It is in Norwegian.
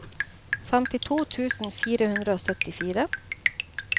femtito tusen fire hundre og syttifire